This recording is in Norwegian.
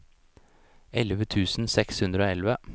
elleve tusen seks hundre og elleve